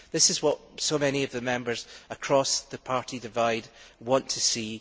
This is what so many of the Members across the party divide want to see